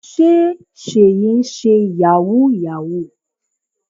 Sé Seyi ń ṣe yahoo yahoo.